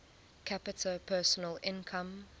capita personal income